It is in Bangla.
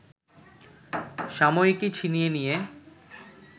সাময়িকী ছিনিয়ে নিয়ে